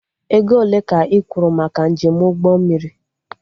Ego ole ka ị kwuru maka njem ụgbọ mmiri?